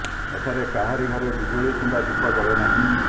ଏଠାରେ କାହାରି ଘରେ ବିଜୁଳି କିମ୍ବା ଦୀପ ଜଳେ ନାହିଁ